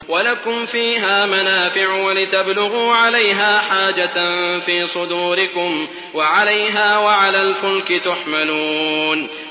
وَلَكُمْ فِيهَا مَنَافِعُ وَلِتَبْلُغُوا عَلَيْهَا حَاجَةً فِي صُدُورِكُمْ وَعَلَيْهَا وَعَلَى الْفُلْكِ تُحْمَلُونَ